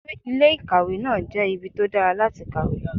Ilé ìkàwé náà jẹ́ ibi tó dára láti kàwé.